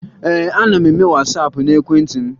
Ee, ana m eme Wasaapụ n'ekwentị m